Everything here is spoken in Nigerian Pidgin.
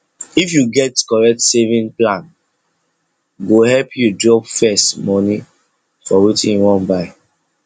if you get correct saving plane go help you drop first money for wetin you wan buy